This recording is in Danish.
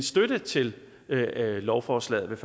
støtte til lovforslaget